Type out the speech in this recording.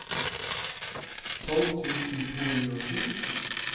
tolv tusen to hundre og sju